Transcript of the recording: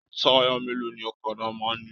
Taya mélòó ní ọ̀kàdà máa n ní?